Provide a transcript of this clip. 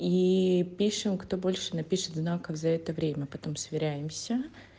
и пишем кто больше напишет знак как за это время потом сверяемся